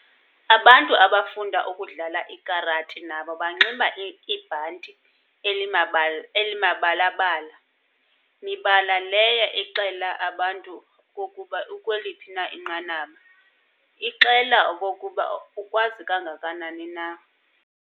Abantu abafunda ukudlala ikarati nabo banxiba ibhanti elimabala-bala, mibala leyo ixela abantu okokuba ukweliphi na inqanaba, ixela okokuba ukwazi kangakanani na.